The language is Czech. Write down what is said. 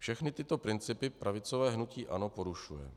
Všechny tyto principy pravicové hnutí ANO porušuje.